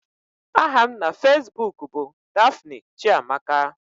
Aha m na Facebook bụ Daphne Chiamaka